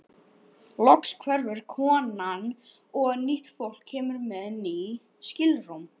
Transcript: Loks hverfur konan og nýtt fólk kemur með ný skilrúm.